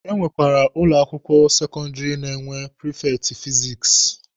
Enwekwara ụlọ akwụkwọ sekọndịrị na-enwe prifekti fizikisi.